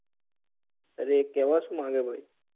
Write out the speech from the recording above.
અરે કેવા શું માંગે ભાઈ